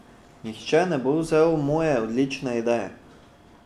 Nihče ne bo vzel moje odlične ideje!